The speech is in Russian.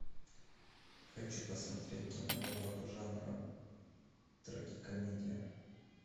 хочу посмотреть киноработу жанра трагикомедия